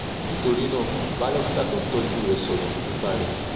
nítorí náà bá dókítà tó ń tọ́jú rẹ sọ̀rọ̀ nípa rẹ̀